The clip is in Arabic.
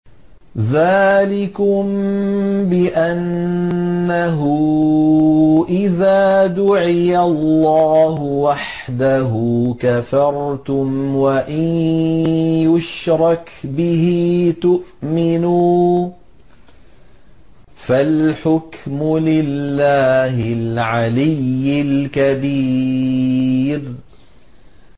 ذَٰلِكُم بِأَنَّهُ إِذَا دُعِيَ اللَّهُ وَحْدَهُ كَفَرْتُمْ ۖ وَإِن يُشْرَكْ بِهِ تُؤْمِنُوا ۚ فَالْحُكْمُ لِلَّهِ الْعَلِيِّ الْكَبِيرِ